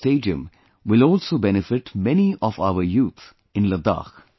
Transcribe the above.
The stadium will also benefit many of our youth in Ladakh